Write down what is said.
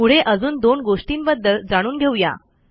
पुढे अजून दोन गोष्टींबद्दल जाणून घेऊ या